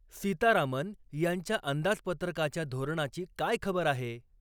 सीतारामन यांच्या अंदाजपत्रकाच्या धोरणाची काय खबर आहे?